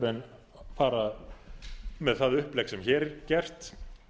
en fara með það upplegg sem hér er gert